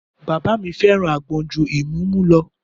Bàbá mi fẹ́ràn àgbọn ju ìmúmu lọ